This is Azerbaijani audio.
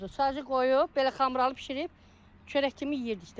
Sadəcə qoyub belə xamralı bişirib çörək kimi yeyirdik də.